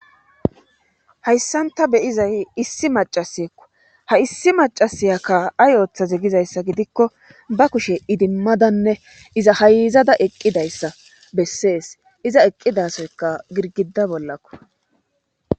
hayssanta beyizay issi macaseekko ha issi macasiya ka ay ooththaze gizayssa gidikko ba kushe idimmadanne iza hayizada eqqidayssa bessees iza eqqidasoyka girgida bollakko